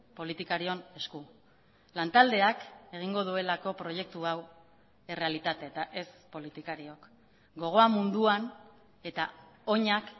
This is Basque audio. politikarion esku lantaldeak egingo duelako proiektu hau errealitate eta ez politikariok gogoa munduan eta oinak